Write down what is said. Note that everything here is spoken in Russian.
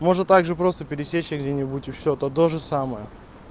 можно также просто пересечься где-нибудь и всё это тоже самое